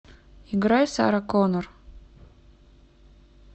играй сара коннор